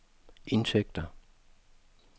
indtægter